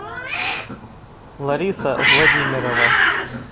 лариса владимирова